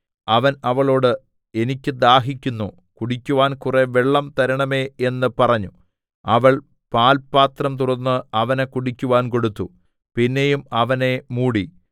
അവൻ അവളോട് എനിക്ക് ദാഹിക്കുന്നു കുടിക്കുവാൻ കുറെ വെള്ളം തരേണമേ എന്ന് പറഞ്ഞു അവൾ പാൽ പാത്രം തുറന്ന് അവന് കുടിക്കുവാൻ കൊടുത്തു പിന്നെയും അവനെ മൂടി